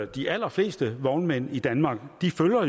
de allerfleste vognmænd i danmark